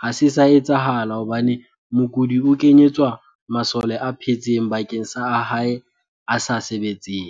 ha se sa etsahala hobane mokudi o kenyetswa masole a phetseng bakeng sa a hae a sa sebetseng.